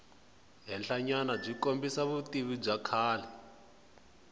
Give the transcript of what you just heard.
henhlanyanabyi kombisa vutivi bya kahle